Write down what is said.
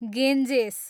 Ganges